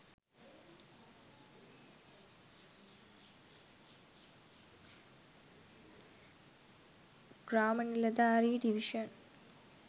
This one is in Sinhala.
gramaniladare divison